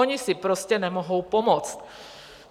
Oni si prostě nemohou pomoct.